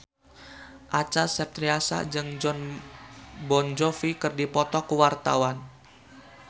Acha Septriasa jeung Jon Bon Jovi keur dipoto ku wartawan